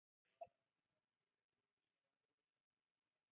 Snorri hefur nú tekið við hlutverki Helga og ber mikla umhyggju fyrir systur sinni.